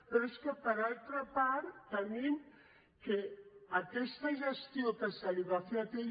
però és que per altra part tenim que aquesta gestió que es va fer d’atll